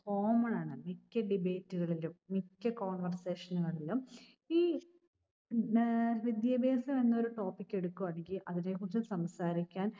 common ആണ്. മിക്ക debate കളിലും മിക്ക conversation കളിലും ഈ ഏർ വിദ്യാഭ്യാസം എന്നൊരു topic എടുക്കുകയോ അല്ലെങ്കിൽ അതേക്കുറിച്ച് സംസാരിക്കാൻ